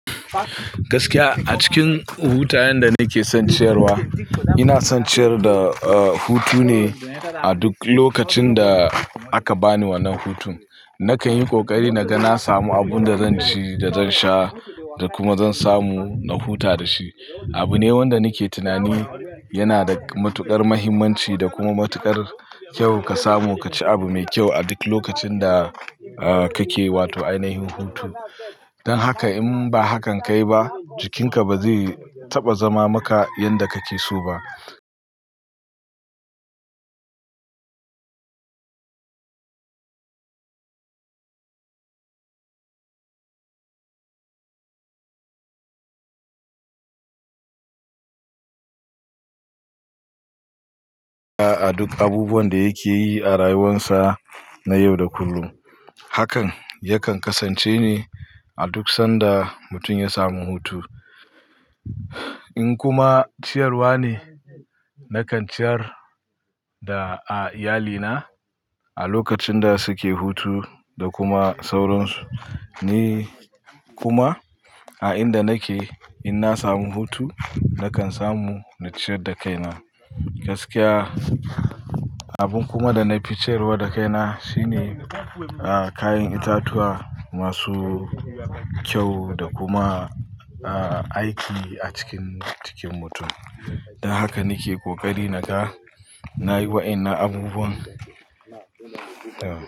Gaskiya a cikin hutayen da nake son ciyarwa, inason ciyar da, eh, hutu ne a duk lokacin da aka bani wannan hutun. Nakan yi ƙoƙari naga na samu abun da zanci da zansha da kuma zan samu na huta dashi. Abu ne wanda nake tunani yana da matuƙar mahimmanci da kuma matuƙar ƙyau ka samu ka ci abu mai ƙyau a duk lokacin da, eh, kake wato ainahin hutu. Dan haka in ba hakan kayi ba, jikinka ba zai taɓa zama maka yanda kake so ba. A duk abubuwan da yake yi a rayuwarsa na yau da kullum. Hakan yakan kasance ne a duk sanda mutum ya samu hutu. In kuma ciyarwa ne, nakan ciyar da, a, iyalina a lokacin da suke hutu da kuma sauransu. Ni kuma a inda nake inna samu hutu, nakan samu na ciyar da kaina. Gaskiya, abun kuma dana fi ciyarwa da kaina shine, ah, kayan itatuwa masu ƙyau da kuma, ah, aiki a cikin jikin mutum. Dan haka nake kokari naga nayi waƴannan abubuwan, eh.